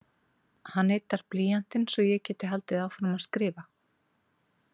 Hann yddar blýantinn svo ég geti haldið áfram að skrifa.